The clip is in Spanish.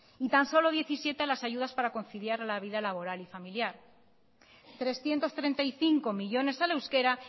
y tan solo diecisiete a las ayudas para conciliar la vida laboral y familiar trescientos treinta y cinco millónes al euskera